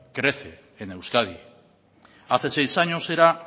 crece en euskadi hace seis años era